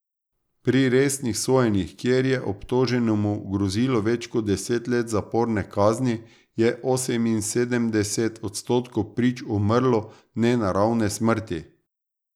Pri resnih sojenjih, kjer je obtoženemu grozilo več kot deset let zaporne kazni, je oseminsedemdeset odstotkov prič umrlo nenaravne smrti.